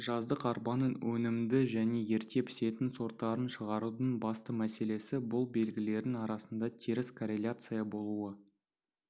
жаздық арпаның өнімді және ерте пісетін сорттарын шығарудың басты мәселесі бұл белгілердің арасында теріс корреляция болуы